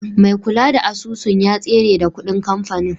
Mai kula da asusun ya tsere da kuɗin kamfani.